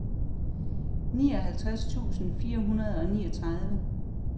nioghalvtreds tusind fire hundrede og niogtredive